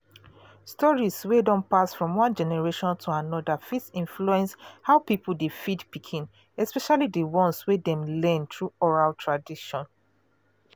stories wey don pass from one generation to another fit influence how people dey feed pikin especially the ones wey dem learn through oral tradition.